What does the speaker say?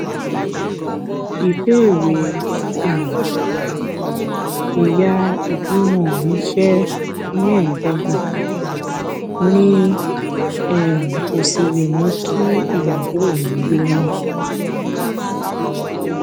ìbéèrè um ẹ̀yà ìbímọ mi jé mẹ́ẹ̀ẹ́dọ́gbọ̀n mi um ò sì lè mú kí ìyàwó mi lóyún